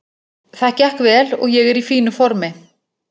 Það gekk vel og ég er í fínu formi.